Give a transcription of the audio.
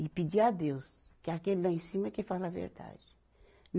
E pedir a Deus, que é aquele lá em cima é que fala a verdade.